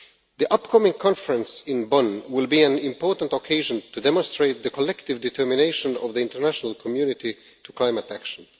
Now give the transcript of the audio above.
The upcoming conference in Bonn will be an important occasion to demonstrate the collective determination of the international community on climate action.